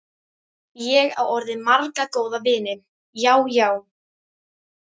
Ég á orðið marga góða vini, já, já.